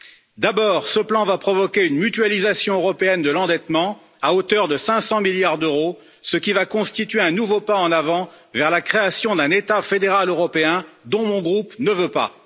Tout d'abord, ce plan va provoquer une mutualisation européenne de l'endettement à hauteur de 500 milliards d'euros, ce qui va constituer un nouveau pas en avant vers la création d'un état fédéral européen dont mon groupe ne veut pas.